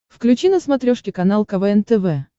включи на смотрешке канал квн тв